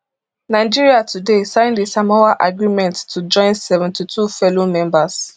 nigeria today sign di samoa agreement to join seventy-two fellow members